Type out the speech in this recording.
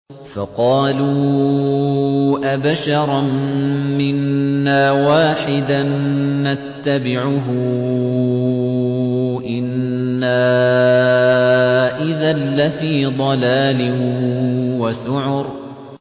فَقَالُوا أَبَشَرًا مِّنَّا وَاحِدًا نَّتَّبِعُهُ إِنَّا إِذًا لَّفِي ضَلَالٍ وَسُعُرٍ